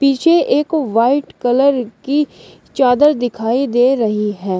ये एक white colour की चादर दिखाई दे रही है।